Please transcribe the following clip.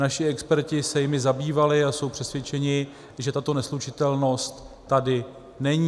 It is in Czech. Naši experti se jimi zabývali a jsou přesvědčeni, že tato neslučitelnost tady není.